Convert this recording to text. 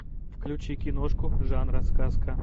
включи киношку жанра сказка